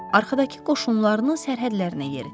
Arxadakı qoşunlarını sərhədlərinə yeritdi.